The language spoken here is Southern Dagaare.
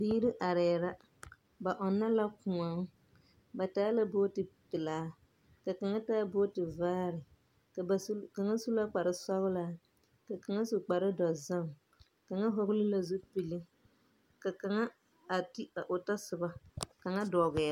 Biiri arɛɛ la. Ba ɔnnɔ la kõɔ. Ba taa la booti pelaa, ka kaŋa taa booti vaare. Ka kaŋa su kparesɔgelaa, ka kaŋa su kparedɔzɔŋ. Kaŋa hɔgele la zupili. Ka kaŋa a ti a o tasoba. Kaŋa dɔgɛɛ.